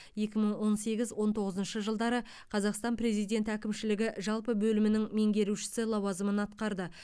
екі мың он сегіз он тоғызыншы жылдары қазақстан президенті әкімшілігі жалпы бөлімінің меңгерушісі лауазымын атқарды